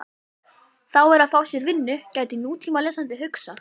Þá er að fá sér vinnu, gæti nútímalesandi hugsað.